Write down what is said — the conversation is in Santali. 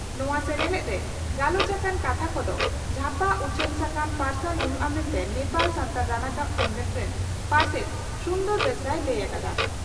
ᱱᱚᱣᱟ ᱥᱮᱱᱮᱞᱮᱫ ᱨᱮ ᱜᱟᱞᱚᱪ ᱟᱠᱟᱱ ᱠᱟᱛᱷᱟ ᱠᱚᱫᱚ 'ᱡᱷᱟᱯᱟ ᱩᱪᱷᱟᱹᱱ ᱥᱟᱠᱟᱢ' ᱨᱮ ᱯᱟᱨᱥᱟᱞ ᱦᱩᱭᱩᱜᱼᱟ ᱢᱮᱱᱛᱮ ᱱᱮᱯᱟᱞ ᱥᱟᱱᱛᱷᱟᱞ ᱨᱟᱱᱟᱠᱟᱵ ᱥᱮᱢᱞᱮᱫ ᱨᱮᱱ ᱯᱟᱨᱥᱮᱛ ᱥᱩᱱᱫᱚᱨ ᱵᱮᱥᱨᱟᱭ ᱞᱟᱹᱭ ᱟᱠᱟᱫᱟ ᱾